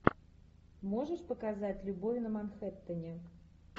можешь показать любовь на манхэттене